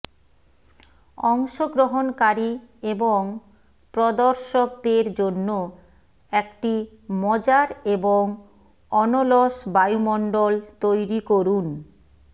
অংশগ্রহণকারী এবং প্রদর্শকদের জন্য একটি মজার এবং অনলস বায়ুমণ্ডল তৈরি করুন